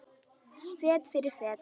Fet fyrir fet.